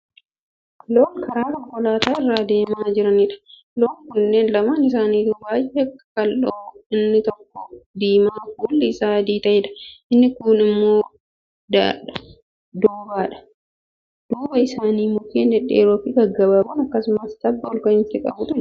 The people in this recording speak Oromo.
Loon karaa konkolaataa irra adeemaa jiranidha. loon kunniin lamaan isaanituu baay'ee qaqal'aadha. inni tokko diimaa fuulli Isaa adii ta'eedhaa, inni kuun immoo doobbaadha. duuba Isaanii mukkeen dhedheeroo fi gaggabaaboo akkasumas tabba olka'iinsa qabutu jira.